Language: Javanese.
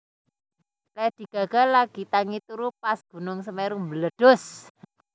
Lady Gaga lagi tangi turu pas gunung Semeru mbledhos